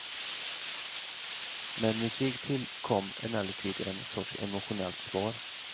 Med musik till kom emellertid en sorts emotionellt svar.